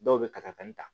Dɔw bɛ katakatani ta